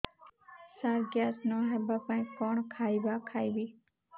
ସାର gas ନ ହେବା ପାଇଁ କଣ ଖାଇବା ଖାଇବି